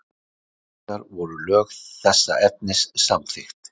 Ári síðar voru lög þessa efnis samþykkt.